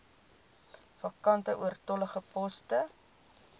vakante oortollige poste